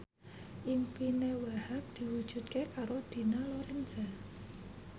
impine Wahhab diwujudke karo Dina Lorenza